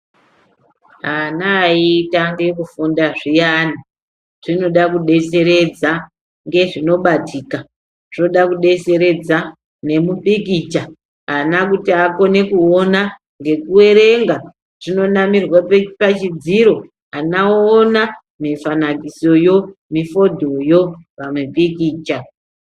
Ana ayitange kurunda zviyani zvinoda kubetseredza ngezvinobatika zvinoda kubetseredza nemupikicha. Ana kuti akone kuona ngekuverenga zvinonamirwa pachidziro ana voona mifanakisiyo nemifindoyo pamipikicha.